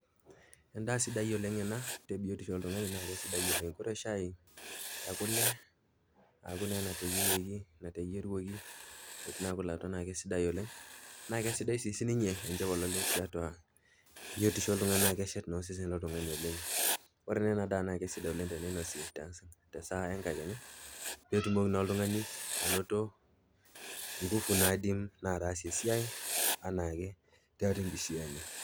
Endaa sidai oleng ena tebiotisho oltung'ani naa kesidai oleng, ore shai ekule aku naa eneteyierieki enateyieruoki etii naa kule atua naa kesidai oleng naa sidai sii sininye enchopololet tebiotisho oltung'ani naa keshet naa osesen loltung'ani oleng. Ore naa ena daa naa sidai teneinosi te saa enkakenya peetumoki na oltung'ani anoto nguvu naidim ataasie esiai anake tiatua enkishui enye.